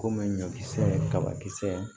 Komi ɲɔkisɛ ye kabakisɛ ye